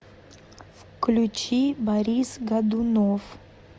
включи борис годунов